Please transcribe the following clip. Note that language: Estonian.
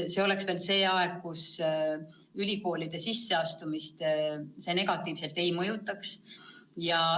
See oleks veel aeg, mis ülikoolide sisseastumist negatiivselt ei mõjutaks.